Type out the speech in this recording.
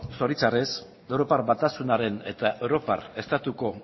zoritxarrez europar batasunaren eta europar estatuko